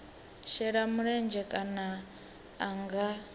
shela mulenzhe kana a nga